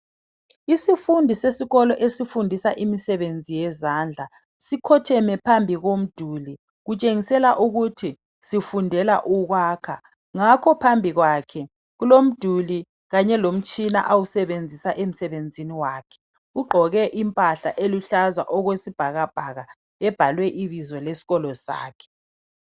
Isifundi sesikolo esifundisa imisebenzi yezandla, sikhotheme phambi komduli kutshengisela ukuthi sifundela ukwakha ngakho phambili kwakhe kulomduli kanye lomtshina awusebenzisa emsebenzini wakhe. Ugqoke impahla eluhlaza okwesibhakabhaka ebhalwe ibizo lesikolo sakhe.